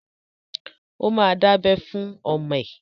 Ó ma dábẹ́ fún ọmọ ẹ!